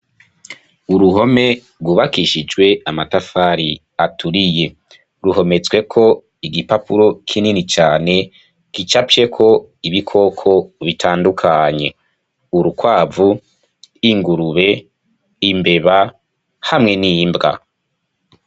Uruhome rwubakishijwe amatafari aturiye ruhomezweko igipapuro kinini cane gicapyeko ibikoko bitandukanye; urukwavu, ingurube, imbeba hamwe n'imbwa.